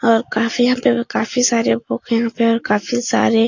और काफी यहाँ काफी सारे बुक यहाँ पे और काफी सारे --